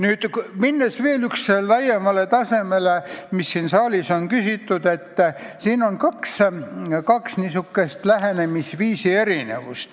Nüüd, minnes veel laiemale tasandile, mille kohta siin saalis on küsitud, tuleb öelda, et tegu on kahe erineva lähenemisega.